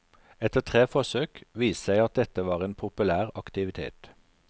Etter tre forsøk viste det seg at dette var en populær aktivitet.